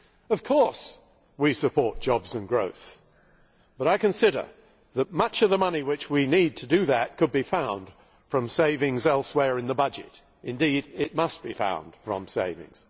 Of course we support jobs and growth, but I consider that much of the money which we need to do that could be found from savings elsewhere in the budget indeed, it must be found from savings.